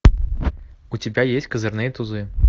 у тебя есть козырные тузы